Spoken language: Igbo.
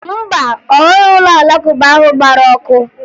Mba, ọ hụghị ụlọ Alakụba ahụ gbara ọkụ